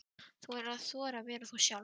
Þú verður að þora að vera þú sjálf.